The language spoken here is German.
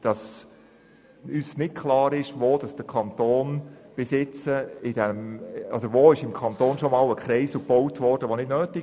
Uns ist aber unklar, wo im Kanton bereits ein unnötiger Kreisel gebaut worden ist.